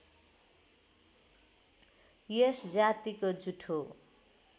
यस जातिको जुठो